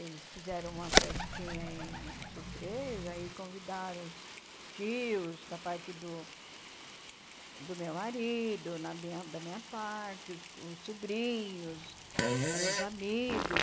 Eles fizeram uma festinha em surpresa e convidaram os tios da parte do do meu marido, na minha da minha parte, os os sobrinhos, ãh os amigos.